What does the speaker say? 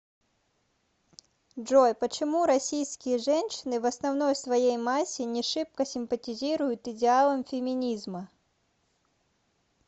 джой почему российские женщины в основной своей массе не шибко симпатизируют идеалам феминизма